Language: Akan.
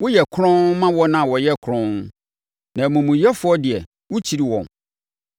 Woyɛ kronn ma wɔn a wɔyɛ kronn, na amumuyɛfoɔ deɛ, wokyiri wɔn.